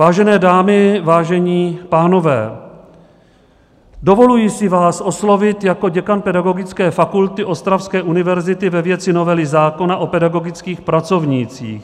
"Vážené dámy, vážení pánové, dovoluji si vás oslovit jako děkan Pedagogické fakulty Ostravské univerzity ve věci novely zákona o pedagogických pracovnících.